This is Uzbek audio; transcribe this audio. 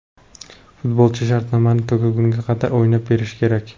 Futbolchi shartnomasi tugagunga qadar o‘ynab berishi kerak.